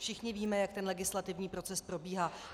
Všichni víme, jak ten legislativní proces probíhá.